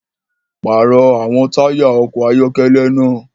Parọ awọn taya ọkọ ayọkẹlẹ náà!